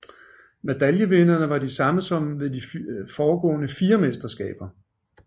Medaljevinderne var de samme som ved de foregående fire mesterskaber